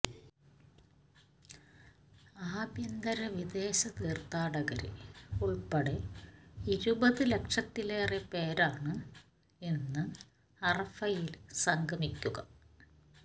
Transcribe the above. ആഭ്യന്തര വിദേശ തീര്ഥാടകര് ഉള്പ്പെടെ ഇരുപത് ലക്ഷത്തിലേറെ പേരാണ് ഇന്ന് അറഫയില് സംഗമിക്കുക